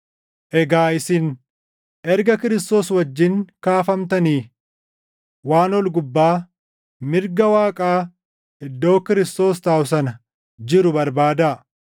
Egaa isin erga Kiristoos wajjin kaafamtanii waan ol gubbaa, mirga Waaqaa iddoo Kiristoos taaʼu sana jiru barbaadaa.